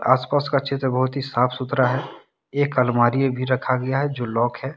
आस पास का चित्र बहोत ही साफ सुथरा है एक अलमारी भी रखा गया है जो लॉक है।